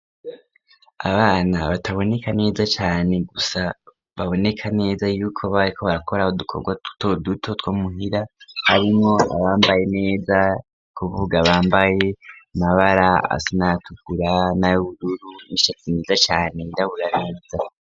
Abana bataboneka neza cane gusa baboneka neza yuko bariko barakora udukorwa tutoduto two muhira, harimwo abambaye neza, n'ukuvuga bambaye amabara asa n'ayatukura n'ayubururu, ishati nziza cane yirabura neza.